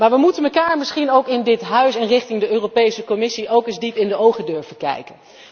Maar we moeten elkaar misschien in dit Parlement en richting de Europese Commissie ook eens diep in de ogen durven kijken.